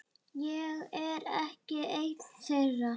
Ég er ekki ein þeirra.